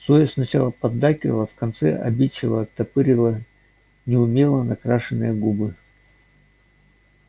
зоя сначала поддакивала а в конце обидчиво оттопырила неумело накрашенные губы